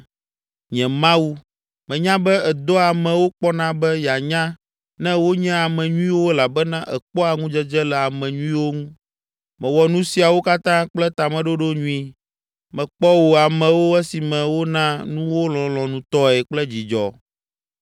Nye Mawu, menya be èdoa amewo kpɔna be yeanya ne wonye ame nyuiwo elabena èkpɔa ŋudzedze le ame nyuiwo ŋu. Mewɔ nu siawo katã kple tameɖoɖo nyui, mekpɔ wò amewo esime wona nuwo lɔlɔ̃nutɔe kple dzidzɔ.